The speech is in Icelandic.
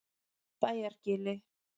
Bæjargili